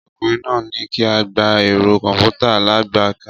Ọkùnrin náà ní kí á gba ẹ̀rọ kọ̀m̀pútà alágbèéká